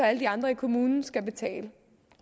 at alle de andre i kommunen skal betale